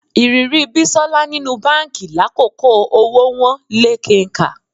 Ìrírí Bísọ́lá nínú báǹkì lákòókò owó wọ́n lé kenkà